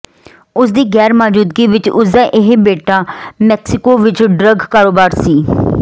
ਉਸ ਦੀ ਗ਼ੈਰ ਮੌਜੂਦਗੀ ਵਿਚ ਉਸ ਦਾ ਇਹ ਬੇਟਾ ਮੈਕਸੀਕੋ ਵਿਚ ਡਰੱਗ ਕਾਰੋਬਾਰ ਸੰ